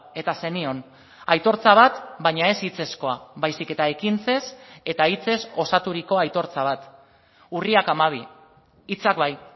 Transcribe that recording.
eta zenion aitortza bat baina ez hitzezkoa baizik eta ekintzez eta hitzez osaturiko aitortza bat urriak hamabi hitzak bai